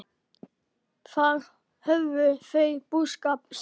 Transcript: Þar hófu þau búskap sinn.